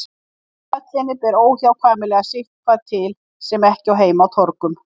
Í höllinni ber óhjákvæmilega sitthvað til sem ekki á heima á torgum.